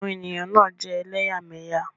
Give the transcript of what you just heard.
Àwọn èèyàn náà jẹ́ elẹ́yàmẹ́yà